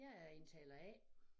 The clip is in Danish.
Jeg er indtaler A